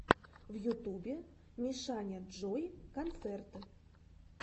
в ютубе мишаняджой концерт